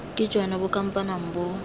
ke jone bo kampanang bo